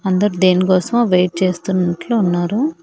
అందరూ దేనికోసమో వెయిట్ చేస్తున్నట్లు ఉన్నారు.